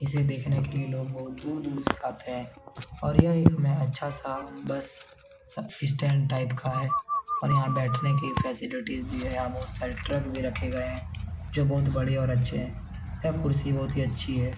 इसे देखने के लिए लोग बहुत दूर-दूर से आते है और यह एक अच्छा सा बस सब्सिस्टैंट टाइप का है और यहाँ बैठने की फैसिलिटी भी है यहाँ बहुत सारे ट्रक भी रखे गए है जो बहुत बड़े और अच्छे है यह कुर्सी बहुत ही अच्छी है ।